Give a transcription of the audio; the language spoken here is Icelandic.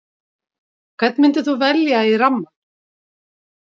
Hvern myndir þú velja í rammann?